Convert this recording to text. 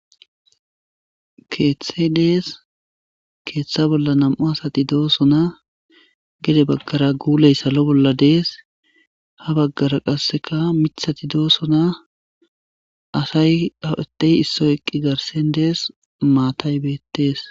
Keeththe dees keeththa bolla nam'u asati doosona gede baggara guuley salo bolla dees ha baggara qasseka mithati doosona asay adey issoy eqqi garsen dees maatay beettees.